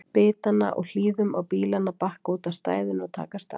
bitanna og hlýðum á bílana bakka úti á stæðinu og taka af stað.